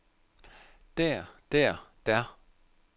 der der der